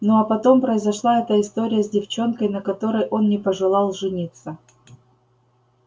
ну а потом произошла эта история с девчонкой на которой он не пожелал жениться